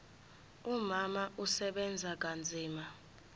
umama usebenza kanzima